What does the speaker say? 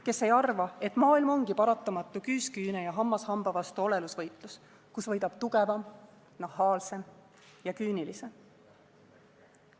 Kes ei arva, et maailm ongi paratamatu küüs küüne ja hammas hamba vastu olelusvõitlus, kus võidab tugevam, nahaalsem ja küünilisem.